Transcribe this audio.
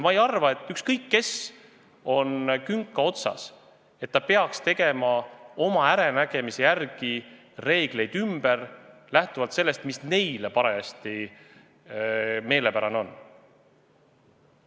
Ma ei arva, et ükskõik kes on künka otsas, võiks teha oma äranägemise järgi reegleid ümber, lähtudes sellest, mis neile parajasti meelepärane on.